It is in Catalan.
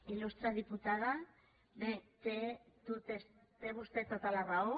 il·lustre diputada bé té vostè tota la raó